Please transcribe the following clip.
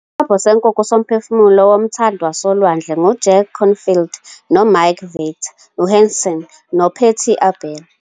Isobho Senkukhu soMphefumulo Womthandi Wasolwandle nguJack Canfield noMark Victor Hansen noPatty Aubery